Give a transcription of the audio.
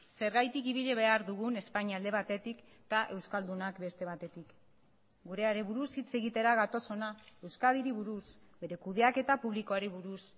zergatik ibili behar dugun espainia alde batetik eta euskaldunak beste batetik gureari buruz hitz egitera gatoz ona euskadiri buruz bere kudeaketa publikoari buruz